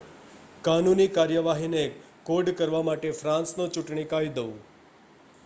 કાનૂની કાર્યવાહીને કોડકરવા માટે ફ્રાન્સનો ચૂંટણી કાયદો